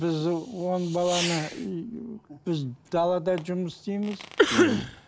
біз он баланы үй біз далада жұмыс істейміз мхм